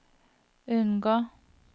unngå